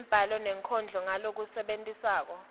lwembhalo nenkondlo ngalokwenetisako